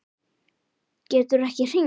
Geturðu ekki hringt?